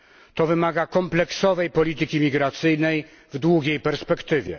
To wymaga kompleksowej polityki migracyjnej w długiej perspektywie.